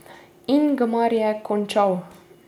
Ingmar je končal.